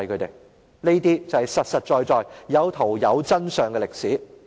這些都是實實在在，有圖有真相的歷史。